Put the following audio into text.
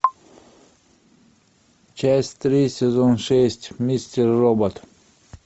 часть три сезон шесть мистер робот